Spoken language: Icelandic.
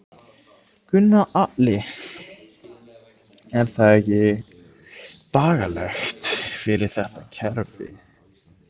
Gunnar Atli: Er það ekki bagalegt fyrir þetta kerfi?